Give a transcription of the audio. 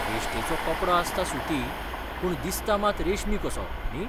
वेश्टेचो कपडो आसता सुती, पूण दिसता मात रेशमी कसो, न्ही?